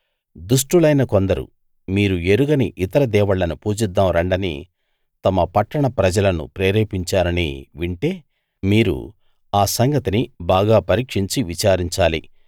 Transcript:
దుష్టులైన కొందరు మీరు ఎరుగని ఇతర దేవుళ్ళను పూజిద్దాం రండని తమ పట్టణ ప్రజలను ప్రేరేపించారని వింటే మీరు ఆ సంగతిని బాగా పరీక్షించి విచారించాలి